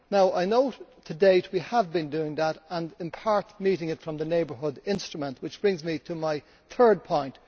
I know that, to date, we have been doing that and in part meeting it from the neighbourhood instrument, which brings me to my third point.